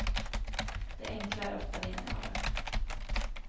Det enkla är ofta det geniala.